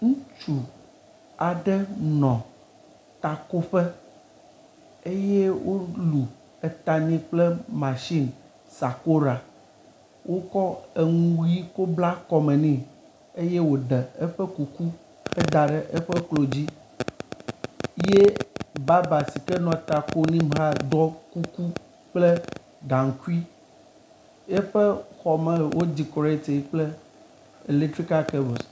Ŋutsu aɖe nɔ takoƒe eye wolu eta nɛ kple masini sakoɖa wokɔ eŋu ʋi kɔ bla kɔme nɛ eye woɖe eƒe kuku heda ɖe eƒe klo dzi ye baba si ke nɔ ta kom nɛ hã ɖɔ kuku kple gaŋkui. Eƒe xɔme wodikoratie kple letrikal kabels.